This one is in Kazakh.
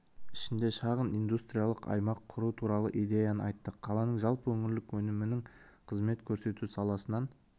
ішінде шағын индустриялық аймақ құру туралы идеяны айтты қаланың жалпы өңірлік өнімінің қызмет көрсету саласынан